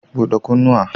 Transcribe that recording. Bude kunnuwa.